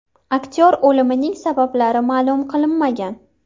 Aktyor o‘limining sabablari ma’lum qilinmagan.